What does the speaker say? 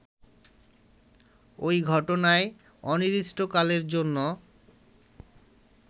ওই ঘটনায় অনির্দিষ্টকালের জন্য